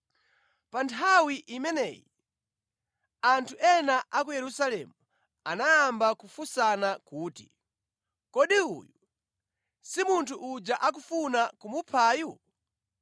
Pa nthawi imeneyi anthu ena a ku Yerusalemu anayamba kufunsana kuti, “Kodi uyu si munthu uja akufuna kumuphayu?